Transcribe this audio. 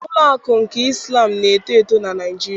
Ụlọ akụ nke Islam na-eto eto na Naịjirịa.